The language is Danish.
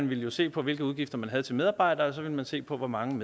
ville man se på hvilke udgifter man havde til medarbejdere og så ville man se på hvor mange